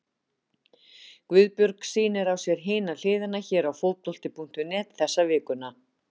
Guðbjörg sýnir á sér Hina hliðina hér á Fótbolti.net þessa vikuna.